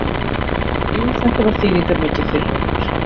Jú þetta var þýðingarmikið fyrir okkur.